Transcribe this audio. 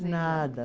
De nada.